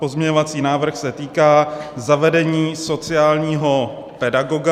Pozměňovací návrh se týká zavedení sociálního pedagoga.